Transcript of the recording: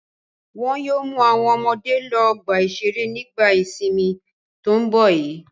Wọn yóò mú àwọn ọmọdé lọ ọgbà-ìṣeré nígbà ìsìnmi tó ń bọ̀ yìí.